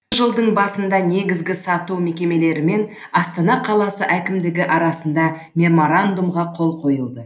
осы жылдың басында негізгі сату мекемелерімен астана қаласы әкімдігі арасында меморандумға қол қойылды